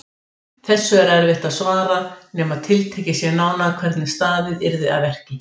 Þessu er erfitt að svara nema tiltekið sé nánar hvernig staðið yrði að verki.